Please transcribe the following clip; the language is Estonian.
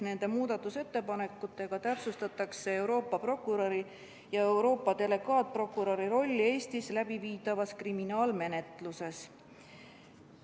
Nende muudatusettepanekutega täpsustatakse Euroopa prokuröri ja Euroopa delegaatprokuröri rolli Eestis läbiviidavas kriminaalmenetluses.